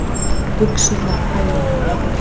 Buxurnar á hælunum.